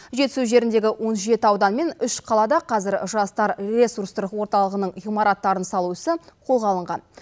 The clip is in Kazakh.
жетісу жеріндегі он жеті аудан мен үш қалада қазір жастар ресурстық орталығының ғимараттарын салу ісі қолға алынған